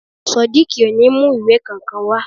Sodiq ò ní mu ìwé kankan wa